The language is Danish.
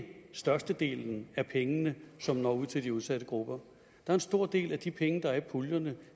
størstedelen af pengene som når ud til de udsatte grupper en stor del af de penge der er i puljerne